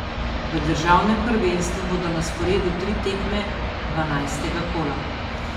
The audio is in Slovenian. V državnem prvenstvu bodo na sporedu tri tekme dvanajstega kola.